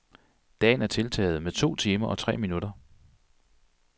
Dagen er tiltaget med to timer og tre minutter.